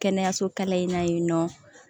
Kɛnɛyaso kalan in na yen nɔ